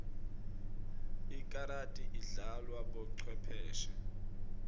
ikarati idlalwa bocwepheshe